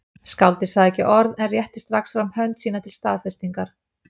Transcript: Skáldið sagði ekki orð en rétti strax fram hönd sína til staðfestingar.